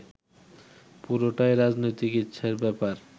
পুরোটাই রাজনৈতিক ইচ্ছের ব্যাপার